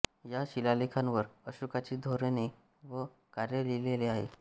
या शिलालेखांवर अशोकाची धोरणे व कार्य लिहिले आहे